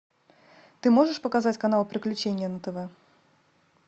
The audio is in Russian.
ты можешь показать канал приключения на тв